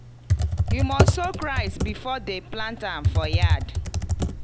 you must soak rice before dem plant am for yard.